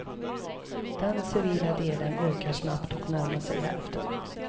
Den civila delen ökar snabbt och närmar sig hälften.